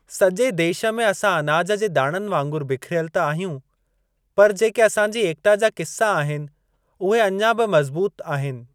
सॼे देश में असां अनाज जे दाणनि वांगुरु बिखरियल त आहियूं पर जेके असां जी एकता जा किस्सा आहिनि उहे अञा बि मज़बूत आहिनि।